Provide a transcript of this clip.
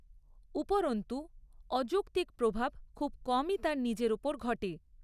উপরন্তু, অযৌক্তিক প্রভাব খুব কমই তার নিজের ওপর ঘটে।